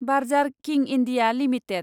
बार्जार किं India limited